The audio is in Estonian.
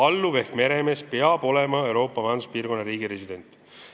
Ja alluv ehk meremees peab olema Euroopa Majanduspiirkonna riigi resident.